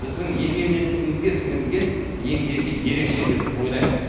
біздің егемендігімізге сіңірген еңбегі ерекше деп ойлаймын